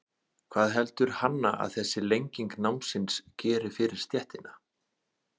Hvað heldur Hanna að þessi lenging námsins geri fyrir stéttina?